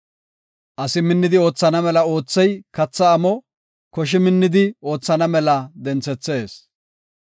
Asi minnidi oothana mela oothey katha amo; koshi minnidi oothana mela denthethees.